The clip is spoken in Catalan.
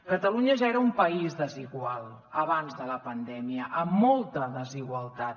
catalunya ja era un país desigual abans de la pandèmia amb molta desigualtat